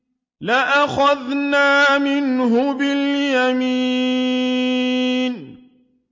لَأَخَذْنَا مِنْهُ بِالْيَمِينِ